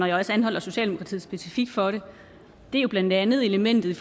jeg også anholder socialdemokratiet specifikt for det er jo blandt andet elementet